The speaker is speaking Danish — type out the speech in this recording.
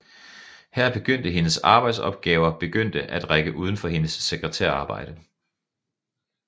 Her begyndte hendes arbejdsopgaver begyndte at række udenfor hendes sekretærarbejde